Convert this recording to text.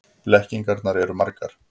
Blekkingarnar eru margar.